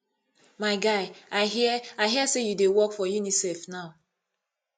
my guy i hear i hear say you dey work for unicef now